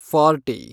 forty